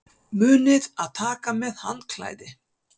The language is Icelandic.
Munið að taka með handklæði!